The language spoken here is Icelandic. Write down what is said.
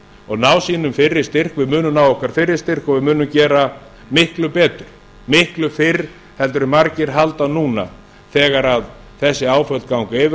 og ná sínum fyrri styrk við munum ná okkar fyrri styrk og við munum gera miklu betur miklu fyrr heldur en margir halda núna þegar þessi áföll ganga yfir